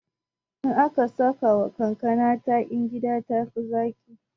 In aka sakawa kankana takin gida tafi zaƙi